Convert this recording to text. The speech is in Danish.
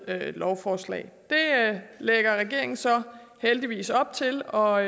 af et lovforslag det lægger regeringen så heldigvis op til og